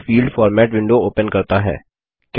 यह field format window open करता है